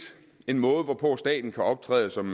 en måde hvorpå staten kan optræde som